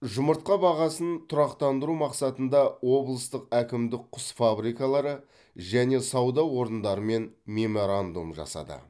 жұмыртқа бағасын тұрақтандыру мақсатында облыстық әкімдік құс фабрикалары және сауда орындарымен меморандум жасады